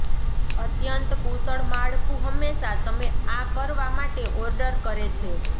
અત્યંત કુશળ માળખું હંમેશા તમે આ કરવા માટે ઓર્ડર કરે છે